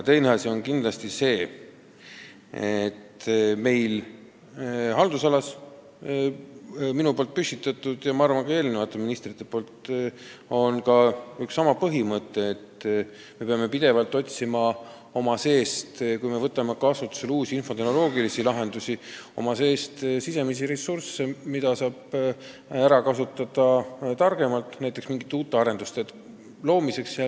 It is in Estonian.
Teine asi on see: olen oma haldusalas püstitanud – ja ma arvan, et ka eelnevad ministrid on seda teinud – eesmärgi, et kui me võtame kasutusele uusi infotehnoloogilisi lahendusi, siis me peame pidevalt otsima sisemisi ressursse, mida saaks näiteks mingite uute arenduste tarbeks targemalt ära kasutada.